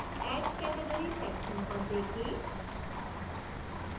add category section पर देखें